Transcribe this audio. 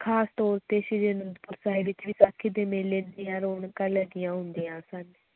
ਖ਼ਾਸ ਤੌਰ ਤੇ ਸ੍ਰੀ ਅਨੰਦਪੁਰ ਸਾਹਿਬ ਵਿੱਚ ਵਿਸਾਖੀ ਦੇ ਮੇਲੇ ਦੀਆਂ ਰੌਣਕਾਂ ਲੱਗੀਆਂ ਹੁੰਦੀਆਂ ਸਨ